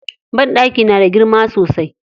Banɗakin na da girma sosai.